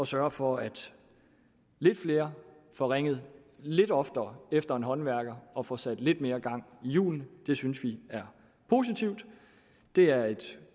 sørge for at lidt flere får ringet lidt oftere efter en håndværker og får sat lidt mere gang i hjulene det synes vi er positivt det er et